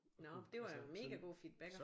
Nå det var mega god feedback hva